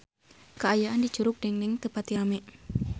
Kaayaan di Curug Dengdeng teu pati rame